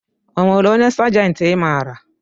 Onwere onye sajenti i maara?